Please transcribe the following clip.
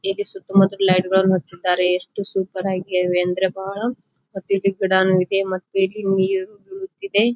ಇಲ್ಲಿ ಸುತ್ತ ಮುತ್ತಲು ಲೈಟ್ ಗಳು ಹಚ್ಚಿದ್ದಾರೆ ಎಷ್ಟು ಸೂಪರ್ ಆಗಿವೆ ಅಂದ್ರ ಬಹಳ ಮತ್ತು ಇಲ್ಲಿ ಗಿಡಾನು ಇದೆ ಮತ್ತು ಇಲ್ಲಿ ನೀರು ಬೀಳುತ್ತಿದೆ.